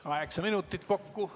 Kaheksa minutit kokku.